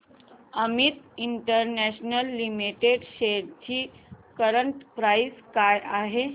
Amit international limited shares ची current price काय आहे